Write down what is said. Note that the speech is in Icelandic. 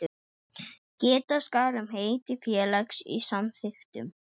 Geta skal um heiti félags í samþykktum.